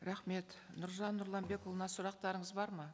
рахмет нұржан нұрланбекұлына сұрақтарыңыз бар ма